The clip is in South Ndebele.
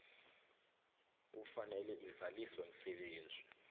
kufanele izaliswe msebenzi